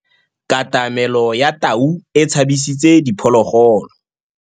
Katamêlô ya tau e tshabisitse diphôlôgôlô.